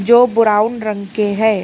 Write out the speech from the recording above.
जो ब्राउन रंग के है।